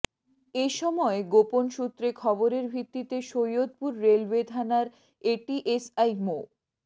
এ সময় গোপন সূত্রে খবরের ভিত্তিতে সৈয়দপুর রেলওয়ে থানার এটিএসআই মো